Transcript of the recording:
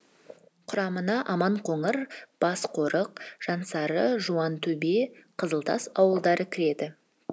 құрамына аманқоңыр басқорық жансары жуантөбе қызылтас ауылдары кіреді